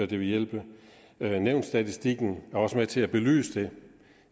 det vil hjælpe nævnsstatistikken er også med til at belyse det